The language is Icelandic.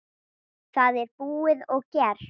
Það er búið og gert.